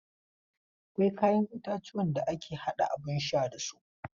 Akwai kayan itatuwan da ake haɗa abun sha da su.